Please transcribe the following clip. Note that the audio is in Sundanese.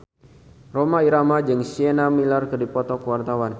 Rhoma Irama jeung Sienna Miller keur dipoto ku wartawan